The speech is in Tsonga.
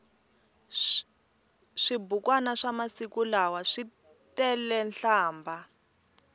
swibukwani swamasiku lawa switelenhlambha